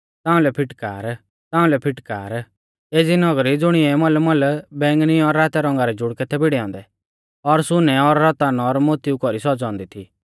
ताउंलै फिटकार ताउंलै फिटकार एज़ी नगरी ज़ुणिऐ मलमल बैंगनी और रातै रौंगा रै जुड़कै थै भिड़ै औन्दै और सुनै और रतन और मोतिऊ कौरी सौज़ौ औन्दी थी